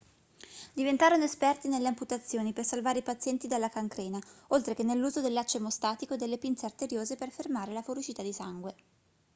diventarono esperti nelle amputazioni per salvare i pazienti dalla cancrena oltre che nell'uso del laccio emostatico e delle pinze arteriose per fermare la fuoriuscita di sangue